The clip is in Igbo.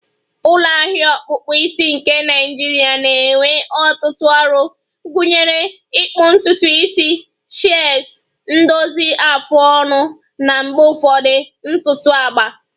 ulo ahia ọkpụkpụ isi nke Naịjirịa na-enye ọtụtụ ọrụ, gụnyere ịkpụ ntutu isi, shaves, ndozi afụ ọnụ, na mgbe ụfọdụ ntutu agba